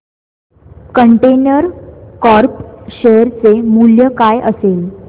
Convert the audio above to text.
container corp share चे मूल्य काय असेल